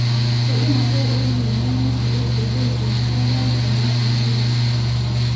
kaidim ake airorie olmalimui kitok peyie eisho enkerai aai ena sukuul